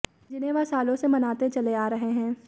जिन्हें वह सालों से मनाते चले आ रहे है